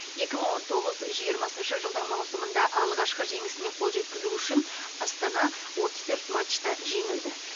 екі мың он тоғыз жиырмасыншы жылдың маусымында алғашқы жеңісіне қол жеткізу үшін астана отыз төрт матчта жеңілді